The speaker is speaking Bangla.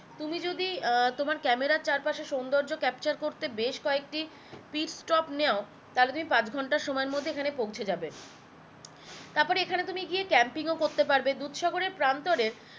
তুমি যদি আহ তোমার ক্যামেরার চারপাশের সুন্দর্য capture করতে বেশ কয়েকটি speed stop তাহলে তুমি পাঁচ ঘন্টা সময়ের মধ্যে এখানে পৌঁছে যাবে তারপরে এখানে তুমি গিয়ে camping ও করতে পারবে দুধসাগরে প্রান্তরের